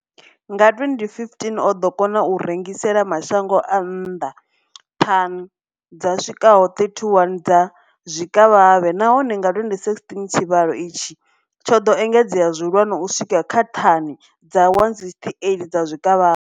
Nga 2015, o ḓo kona u rengisela mashango a nnḓa thani dzi swikaho 31 dza zwikavhavhe, nahone nga 2016 tshivhalo itshi tsho ḓo engedzea zwihulwane u swika kha thani dza 168 dza zwikavhavhe.